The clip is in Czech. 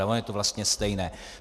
Ale ono je to vlastně stejné.